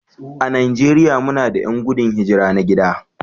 A Najeriya muna da 'yan gudun hijira na gida